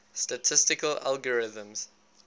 statistical algorithms